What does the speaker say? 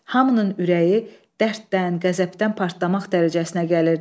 Hamının ürəyi dərddən, qəzəbdən partlamaq dərəcəsinə gəlirdi.